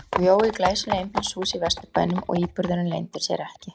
Hún bjó í glæsilegu einbýlishúsi í Vesturbænum og íburðurinn leyndi sér ekki.